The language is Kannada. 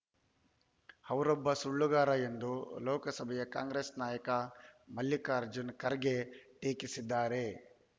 ಅವರೊಬ್ಬ ಸುಳ್ಳುಗಾರ ಎಂದು ಲೋಕಸಭೆಯ ಕಾಂಗ್ರೆಸ್ ನಾಯಕ ಮಲ್ಲಿಕಾರ್ಜುನ ಖರ್ಗೆ ಟೀಕಿಸಿದ್ದಾರೆ